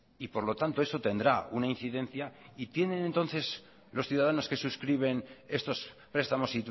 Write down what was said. y por lo tanto eso tendrá una incidencia y tienen entonces los ciudadanos que suscriben estos prestamos